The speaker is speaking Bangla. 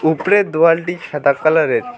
উপরের দোয়ালটি সাদা কালারের।